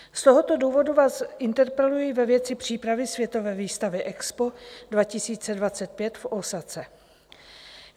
Z tohoto důvodu vás interpeluji ve věci přípravy světové výstavy EXPO 2025 v Ósace.